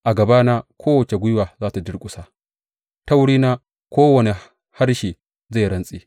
A gabana kowace gwiwa za tă durƙusa; ta wurina kowane harshe zai rantse.